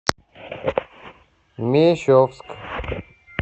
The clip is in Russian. мещовск